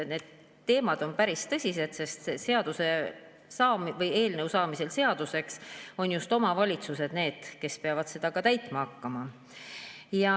Need teemad on päris tõsised, sest eelnõu saamisel seaduseks on just omavalitsused need, kes peavad seda ka täitma hakkama.